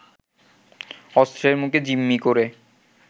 অস্ত্রের মুখে জিম্মি করে